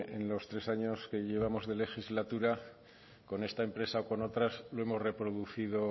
en los tres años que llevamos de legislatura con esta empresa o con otras lo hemos reproducido